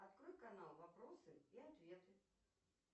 открой канал вопросы и ответы